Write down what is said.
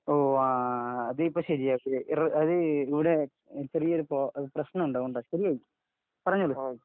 അത് ഇപ്പൊ ശെരിയാകും അത് ഇവിടെ ചെറിയൊരു പ്രശ്നമുണ്ട് അതാ പറഞ്ഞോളൂ